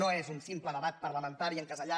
no és un simple debat parlamentari encasellat